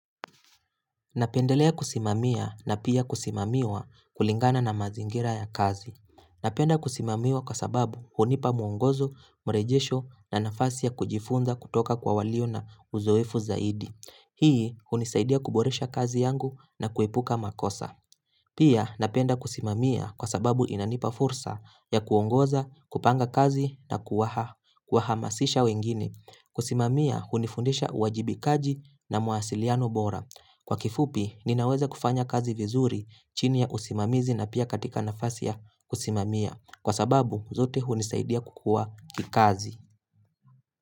Napendelea kusimamia na pia kusimamwia kulingana na mazingira ya kazi. Napenda kusimamiwa kwa sababu hunipa mwongozo, mrejesho na nafasi ya kujifunza kutoka kwa walio na uzoefu zaidi. Hii hunisaidia kuboresha kazi yangu na kuepuka makosa. Pia napenda kusimamia kwa sababu inanipa fursa ya kuongoza, kupanga kazi na kuwahamasisha wengine. Kusimamia hunifundisha uwajibikaji na mawasiliano bora. Kwa kifupi, ninaweza kufanya kazi vizuri chini ya usimamizi na pia katika nafasi ya kusimamia. Kwa sababu, zote hunisaidia kukua kikazi.